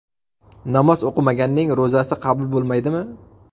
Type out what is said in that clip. Namoz o‘qimaganning ro‘zasi qabul bo‘lmaydimi?.